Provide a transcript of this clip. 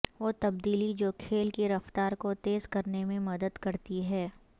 وہ تبدیلی جو کھیل کی رفتار کو تیز کرنے میں مدد کرتی ہے